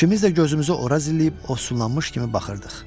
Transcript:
İkimiz də gözümüzü ora zilləyib ovsunlanmış kimi baxırdıq.